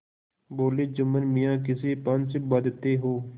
बोलेजुम्मन मियाँ किसे पंच बदते हो